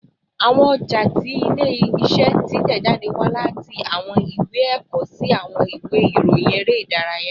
Awọn ọja ti ile-iṣẹ titẹjade wa lati awọn iwe ẹkọ si awọn iwe irohin ere idaraya